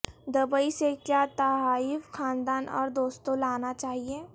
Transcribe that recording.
Dubai سے کیا تحائف خاندان اور دوستوں لانا چاہئے